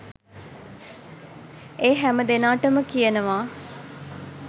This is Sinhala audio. ඒ හැම දෙනාටම කියනවා